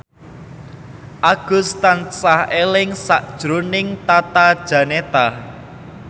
Agus tansah eling sakjroning Tata Janeta